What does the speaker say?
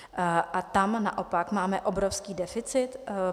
A tam naopak máme obrovský deficit.